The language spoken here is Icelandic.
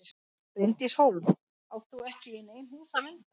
Bryndís Hólm: Og átt þú ekki í nein hús að vernda?